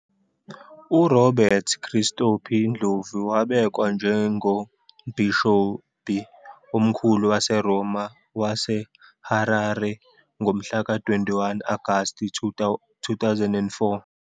URobert Christopher Ndlovu wabekwa njengoMbhishobhi Omkhulu waseRoma waseHarare ngomhlaka 21 Agasti 2004.